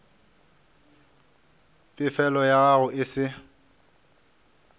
pefelo ya gago e se